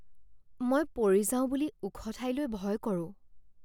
মই পৰি যাওঁ বুলি ওখ ঠাইলৈ ভয় কৰোঁ।